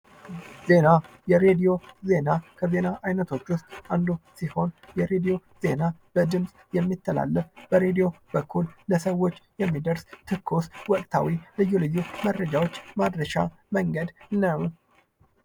ዜና የሬዲዮ ዜና ከዜና አይነቶች ዉስጥ አንዱ ሲሆን በድምፅ የሚተላለፍ በሬዲዮ በኩል ለሰዎች የሚደርስ ትኩስ ወቅታዊ ልዩ ልዩ መረጃዎች ማድረሻ መንገድ ነዉ።